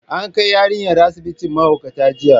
An kai yarinyar asibitin mahaukata jiya.